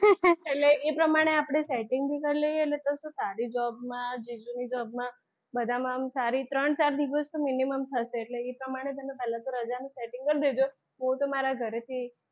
એટલે એ પ્રમાણે આપડે setting કરી લઈએ એટલે તારી job માં જીજુ ની job માં ને બધામાં આમ સારી ત્રણ ચાર દિવસ તો minimum થશે એટલે એ પ્રમાણે પહેલાં તો રજા નું setting કરી દેજો હું તો મારા ઘરેથી,